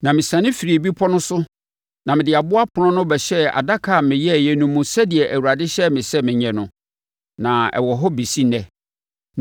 Na mesiane firii bepɔ no so na mede aboɔ apono no bɛhyɛɛ adaka a meyɛeɛ no mu sɛdeɛ Awurade hyɛɛ me sɛ menyɛ no, na ɛwɔ hɔ bɛsi ɛnnɛ.